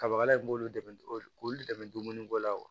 Kabakala in k'olu dɛmɛ k'olu dɛmɛ dumuniko la wa